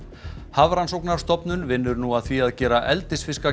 Hafrannsóknastofnun vinnur nú að því að gera eldisfiska